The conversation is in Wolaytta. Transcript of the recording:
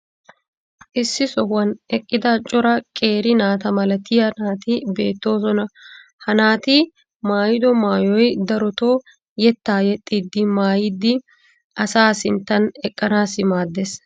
issi sohuwan eqqida cora qeeri naata malattiyaa naati beetoosona. ha naati maayido maayoy darotoo yetaa yexxiidi maayidi asaa sinttan eqqanaassi maadees.